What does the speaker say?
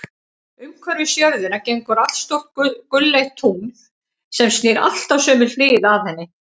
Umhverfis jörðina gengur allstórt gulleitt tungl, sem snýr alltaf sömu hlið að henni.